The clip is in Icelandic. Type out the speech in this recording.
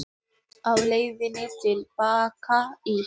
Á leiðinni til baka í